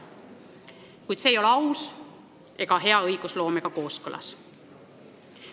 Kuid see ei ole aus ega hea õigusloometavaga kooskõlas.